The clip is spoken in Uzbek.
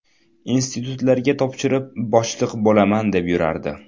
Institutlarga topshirib, boshliq bo‘laman deb yurardi.